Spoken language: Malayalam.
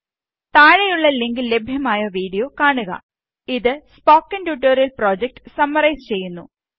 താഴെയുള്ള ലിങ്കില് ലഭ്യമായ വീഡിയോ കാണുക ട്യൂട്ടോറിയല് പ്രോജക്ട് സമ്മറൈസ് ചെയ്യുന്നു